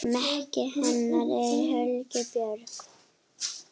Maki hennar er Helgi Björn.